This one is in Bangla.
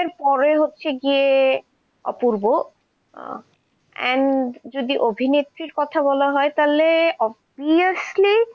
এরপরে হচ্ছে গিয়ে অপুর্ব, আহ and যদি অভিনেত্রী কথা বলা হয় তাহলে obhiously